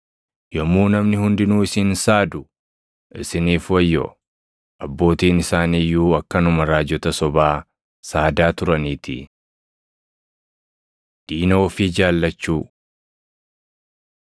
Yommuu namni hundinuu isin saadu isiniif wayyoo; abbootiin isaanii iyyuu akkanuma raajota sobaa saadaa turaniitii. Diina Ofii Jaallachuu 6:29,30 kwf – Mat 5:39‑42